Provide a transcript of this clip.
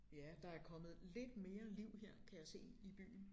Ja der er kommet lidt mere liv her kan jeg se i byen